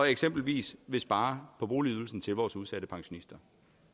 eksempelvis at spare på boligydelsen til vores udsatte pensionister